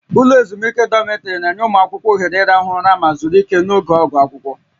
Ụlọ ezumike dọmịtrị na-enye ụmụ akwụkwọ ohere ịrahụ ụra ma zuru ike n'oge oge akwụkwọ